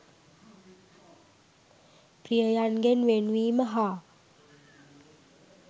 ප්‍රියයන්ගෙන් වෙන්වීම හා